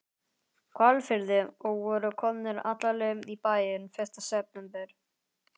Hvalfirði og voru komnir alla leið í bæinn fyrsta september.